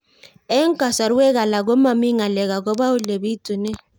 Eng' kasarwek alak ko mami ng'alek akopo ole pitunee